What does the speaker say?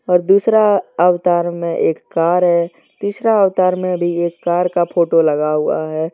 और दूसरा अवतार में एक कार है तीसरा अवतार में भी एक कार का फोटो लगा हुआ है।